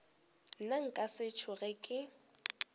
nna nka se tsoge ke